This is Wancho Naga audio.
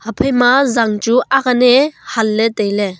haphaima zang chu akane hanley tailey.